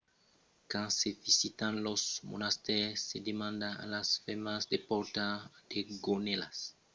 quand se visitan los monastèris se demanda a las femnas de portar de gonèlas que cobriscan los genolhs e d’aver las espatlas cobèrtas tanben